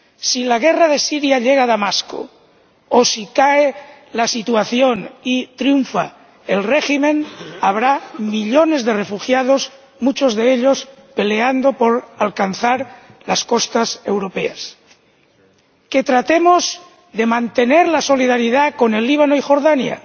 Si la guerra de Siria llega a Damasco o si se invierte la situación y triunfa el régimen, habrá millones de refugiados, muchos de ellos peleando por alcanzar las costas europeas. Que tratemos de mantener la solidaridad con el Líbano y Jordania.